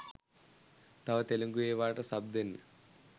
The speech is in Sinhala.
තව තෙලුගු එවාට සබ් දෙන්න